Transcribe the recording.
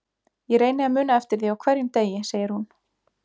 Ég reyni að muna eftir því á hverjum degi, segir hún.